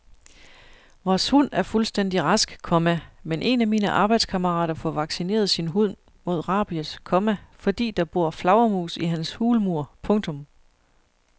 Vores hund er fuldstændig rask, komma men en af mine arbejdskammerater får vaccineret sin hund mod rabies, komma fordi der bor flagermus i hans hulmur. punktum